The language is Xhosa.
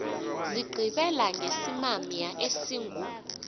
zigqibela ngesimamya esingu